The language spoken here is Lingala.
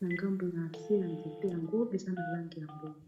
na ngambu ya se ya nzete yango eza na lange ya mboya.